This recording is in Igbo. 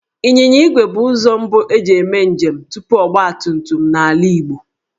Ịnyịnya igwe bụ ụzọ mbu e ji eme njem tupu ọgbatumtum n'ala Igbo